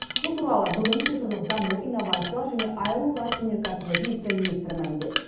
бұл туралы бүгін цифрлық даму инновациялар және аэроғарыш өнеркәсібі вице министрі мәлімдеді